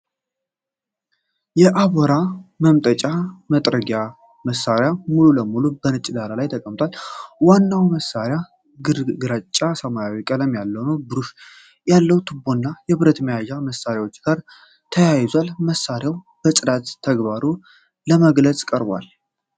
የአቧራ መምጠጫ እና መጥረጊያ መሣሪያ ሙሉ ለሙሉ በነጭ ዳራ ላይ ተቀምጧል። ዋናው መሣሪያ ግራጫማ እና ሰማያዊ ቀለም አለው። ብሩሽ ያለው ቱቦና የብረት መያዣ ከመሣሪያው ጋር ተያይዘዋል። መሣሪያው የጽዳት ተግባሩን ለመግለጽ ቀርቧል።